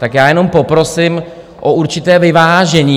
Tak já jenom poprosím o určité vyvážení.